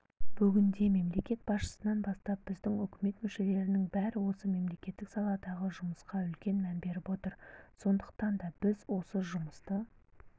бүгінде мемлекет басшысынан бастап біздің үкімет мүшелерінің бәрі осы мемлекеттік саладағы жұмысқа үлкен мән беріп отыр сондықтан да біз осы жұмысты